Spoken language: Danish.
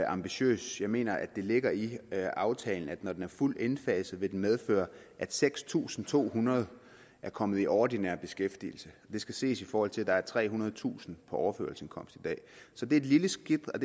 ambitiøs jeg mener at det ligger i aftalen at når den er fuldt indfaset vil den medføre at seks tusind to hundrede er kommet i ordinær beskæftigelse det skal ses i forhold til at der er trehundredetusind på overførselsindkomst det er et lille skridt og